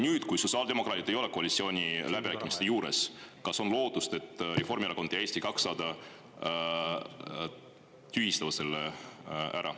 Nüüd, kui sotsiaaldemokraadid ei ole koalitsiooniläbirääkimiste juures, kas on lootust, et Reformierakond ja Eesti 200 tühistavad selle ära?